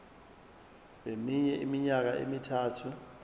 kweminye iminyaka emithathu